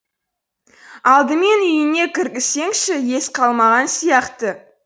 алдымен үйіңе кіргізсеңші ес қалмаған сияқты